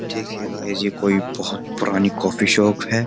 देखिए गाइस ये कोई बहुत पुरानी कॉफी शॉप है।